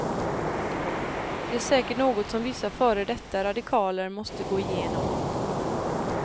Det är säkert något som vissa före detta radikaler måste gå igenom.